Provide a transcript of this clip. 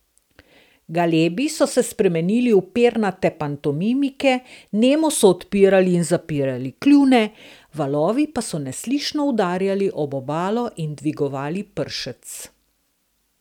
Galebi so se spremenili v pernate pantomimike, nemo so odpirali in zapirali kljune, valovi pa so neslišno udarjali ob obalo in dvigovali pršec.